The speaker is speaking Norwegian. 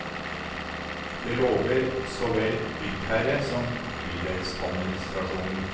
Det lover så vel byggherre som bydelsadministrasjonen.